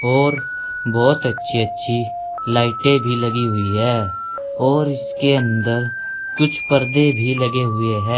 और बहुत अच्छी अच्छी लाइटें भी लगी हुई है और इसके अंदर कुछ पर्दे भी लगे हुए हैं।